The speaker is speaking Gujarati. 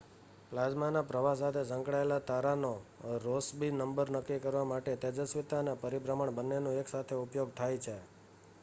પ્લાઝ્માના પ્રવાહ સાથે સંકળાયેલો તારાનો રૉસ્બી નંબર નક્કી કરવા માટે તેજસ્વિતા અને પરિભ્રમણ બન્નેનો એકસાથે ઉપયોગ થાય છે